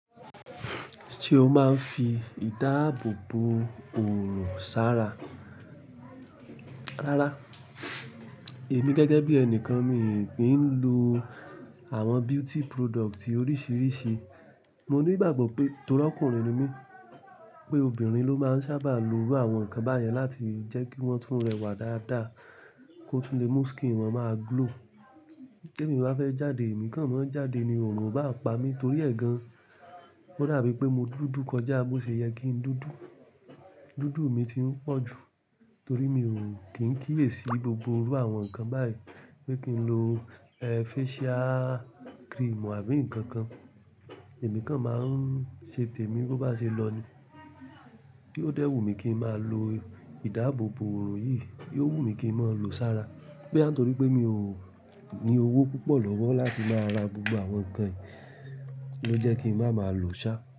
Ṣé o máa ń fi ìdáàbò bo oòrun sára? Rárá, èmi gẹ́gẹ́ bí ẹni kan, mii kí ń lo àwọn beauty product oríṣiríṣi. Mo ní ìgbàgbọ́ pé torí ọkùnrin ni mí pé obìnrin ló máa ń sábà lo iru àwọn nkan báyẹn láti jẹ́ kí wọ́n tún rẹwà dáadáa, kó tún lè mú skin wọn máa glow. Tẹ́mi bá fẹ́ jáde, èmi kan máa ń jáde ni oòrun o bá pa mi torí ẹ̀ gan. Ó dà bií pé mo dúdú kọjá bó ṣe yẹ kí n dúdú. Dúdú mi ti ń pọ̀ ju torí mi ò kín kíyèsi gbogbo irú àwọn ǹkan báyìí pé kí n lo eé facial cream àbí ǹkankan. Èmi kan máa ń ṣe tèmi bó bá ṣe lọ ni. Bí ó dẹ́wù mi kí n máa lo ìdáàbò bo òorun yìí, yóò wù mí kí n máa lo sára. Boya ń tórí pé mi ò ní owó púpọ̀ lọ́wọ́ láti máa ra gbogbo àwọn ǹkan yìí ló jẹ́ kí n máa ma lòó ṣá.